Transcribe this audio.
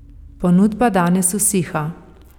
Ponudba danes usiha.